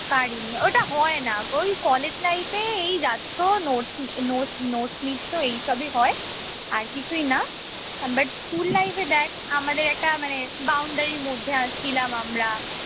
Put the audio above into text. পারিনি ওটা হয়না ওই কলেজ life এ এই যাচ্ছ notes~ notes~ notes নিচ্ছ এই সবই হয় আর কিছুই না but স্কুল life এ দেখ আমাদের একটা মানে boundary র মধ্যে ছিলাম আমরা